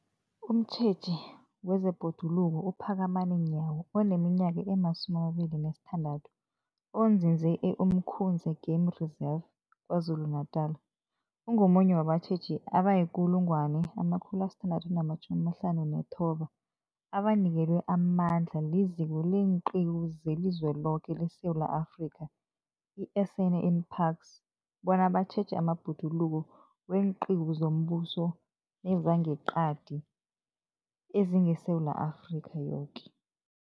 Umtjheji wezeBhoduluko uPhakamani Nyawo oneminyaka ema-26, onzinze e-Umkhuze Game Reserve KwaZulu-Natala, ungomunye wabatjheji abayi-1 659 abanikelwe amandla liZiko leenQiwu zeliZweloke leSewula Afrika, i-SANParks, bona batjheje amabhoduluko weenqiwu zombuso nezangeqadi ezingeSewula Afrika yoke.